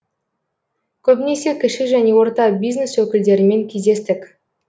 көбінесе кіші және орта бизнес өкілдерімен кездестік